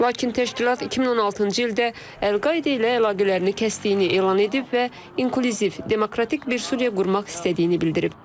Lakin təşkilat 2016-cı ildə Əl-Qaidə ilə əlaqələrini kəsdiyini elan edib və inkluziv, demokratik bir Suriya qurmaq istədiyini bildirib.